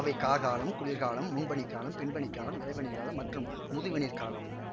அவை கார்காலம் குளிர்காலம் முன்பனிக்காலம் பின்பனிக்காலம் இளவேனிற்காலம் மற்றும் முதுவேனிற்காலம்